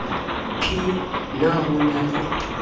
p na ho na le